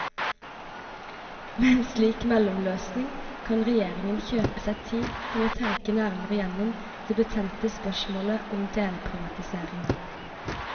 Med en slik mellomløsning kan regjeringen kjøpe seg tid til å tenke nærmere gjennom det betente spørsmålet om delprivatisering.